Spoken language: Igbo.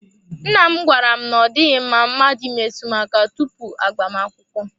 Nna m gwara m na ọ dịghị mma mmadụ imetụ m aka tupu agbamakwụkwọ.